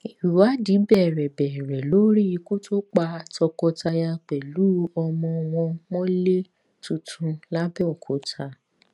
ìwádìí bẹrẹ bẹrẹ lórí ikú tó pa tọkọtaya pẹlú ọmọ wọn mọlẹ tuntun làbẹòkúta